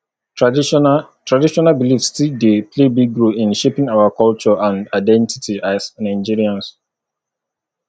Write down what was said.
traditional traditional beliefs still dey play big role in shaping our culture and identity as nigerians